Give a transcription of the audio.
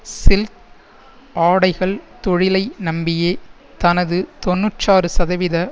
silk ஆடைகள் தொழிலை நம்பியே தனது தொன்னூற்றாறு சதவீத